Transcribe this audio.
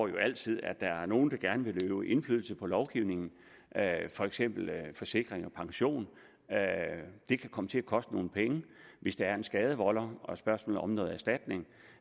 jo altid at der er nogle der gerne vil øve indflydelse på lovgivningen for eksempel forsikring pension det kan komme til at koste nogle penge hvis der er en skadevolder og et spørgsmål om noget erstatning